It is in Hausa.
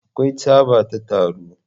Akwai tsaba ta taro.